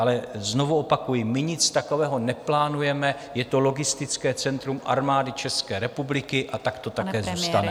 Ale znovu opakuji, my nic takového neplánujeme, je to logistické centrum Armády České republiky a tak to také zůstane.